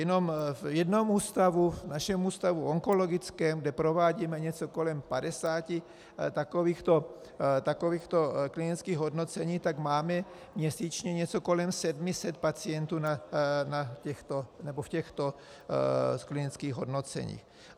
Jenom v jednom v ústavu, našem Ústavu onkologickém, kde provádíme něco kolem 50 takovýchto klinických hodnocení, tak máme měsíčně něco kolem 700 pacientů v těchto klinických hodnoceních.